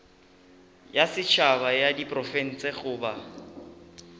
ya setšhaba ya diprofense goba